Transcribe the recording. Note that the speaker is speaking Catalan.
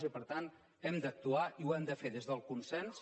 i per tant hem d’actuar i ho hem de fer des del consens